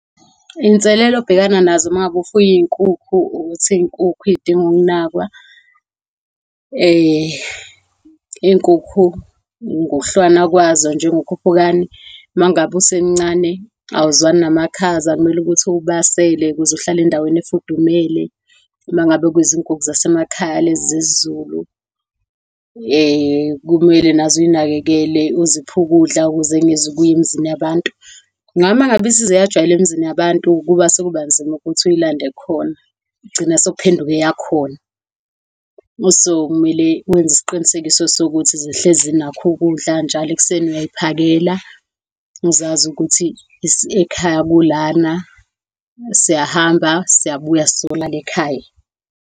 Iy'nselelo obhekana nazo mangabe ufuye iy'nkukhu, ukuthi iy'nkukhu zidinga ukunakwa iy'nkukhu ngokuhlukana kwazo, njengokhuphukani, mangabe usemncane, awuzwakali yamakhaza. Kumele ukuthi uwubasele ukuze uhlale endaweni efudumele. Uma ngabe kuyizinkukhu zasemakhaya lezi zesiZulu, kumele nazo uzinakekele, uziphe ukudla ukuze zingezukuya emizini yabantu. Ngoba mangabe seyize yajwayela emizini yabantu, kuba sekuba nzima ukuthi uyilande khona. Igcina sekuphenduka eyakhona. So, kumele wenze isiqinisekiso sokuthi sihlezi zinakho ukudla. So, njalo ekuseni uyazihakela. Zizazi ukuthi ekhaya kulana, siyahamba, siyabuya siyolala ekhaya.